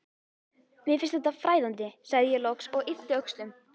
Mér finnst þetta fræðandi, sagði ég loks og yppti öxlum.